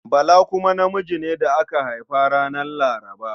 Bala kuma namiji ne da aka haifa ranar Laraba.